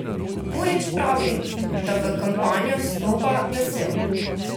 Purič pravi, da v kampanjo vstopa vesel.